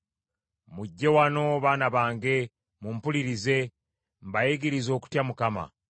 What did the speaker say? Mujje wano baana bange, mumpulirize; mbayigirize okutya Mukama .